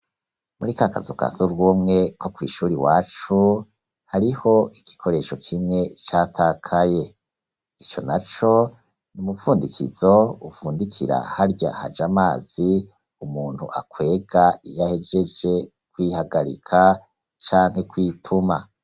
Muri ka kazuka surwumwe ko kw'ishuri wacu hariho igikoresho kimwe catakaye ico na co ni umupfundikizo upfundikira harya haje amazi umuntu akwega iyahejeje kwihagarika canke kwituma.